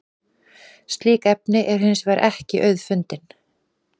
slík efni eru hins vegar ekki auðfundin